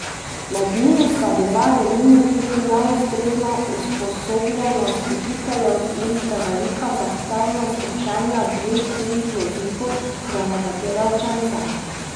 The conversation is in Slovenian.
Med njimi sta bila, denimo, tudi neustrezna usposobljenost učiteljev in prevelika zahtevnost učenja dveh tujih jezikov za nekatere učence.